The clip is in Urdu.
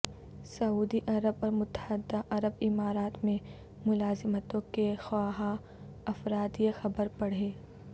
سعودی عرب اور متحدہ عرب امارات میں ملازمتوں کے خواہاں افراد یہ خبر پڑھیں